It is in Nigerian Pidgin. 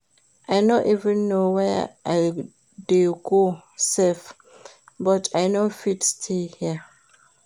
I no even know where I dey go sef but I no fit stay here?